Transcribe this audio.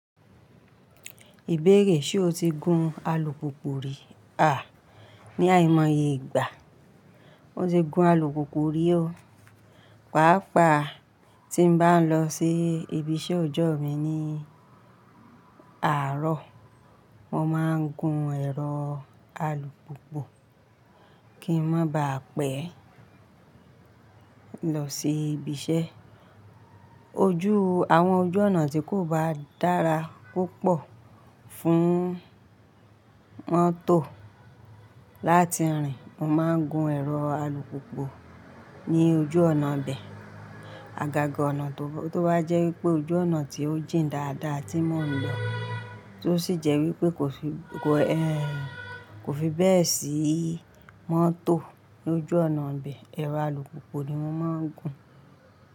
Ìbéèrè ṣe o ti gun alùpùpù rí à ní àìmọye ìgbà? Mo ti gun alùpùpù rí o. Pàápàá tí n bá n lọ sí ibi iṣẹ́ ọjọ́ mi ní àárọ̀, mo máa ń gun ẹ̀rọ alùpùpù kí ń mo ba à pẹ́ lọ sí ibi iṣẹ́. Ojú, àwọn ojú ọ̀nà tí kò bá dára púpọ̀ fún mọ́tò láti rìn, mo máa ń gun ẹ̀rọ alùpùpù ní ojú ọ̀nà'bẹ. Àgàgà ọ̀nà tó bá jẹ́ wípé ojú ọ̀nà tí ó jìn dáadáa tí mò ń lọ, tí ó sì jẹ́ wípé kò fi, kò ẹ́, kò fi bẹ́ẹ̀ sí mọ́tò l'ojú ọ̀nà'bẹ, ẹ̀rọ alùpùpù ni mọ́ máa ń gun.